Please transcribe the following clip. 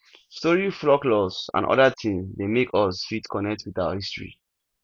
story folklores and oda things dey make us fit connect with our history